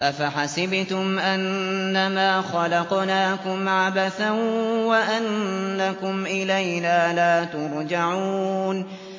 أَفَحَسِبْتُمْ أَنَّمَا خَلَقْنَاكُمْ عَبَثًا وَأَنَّكُمْ إِلَيْنَا لَا تُرْجَعُونَ